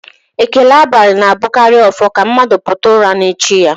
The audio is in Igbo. Ekele abalị na-abụkarị ọfọ ka mmadụ pụta ụra n'echi ya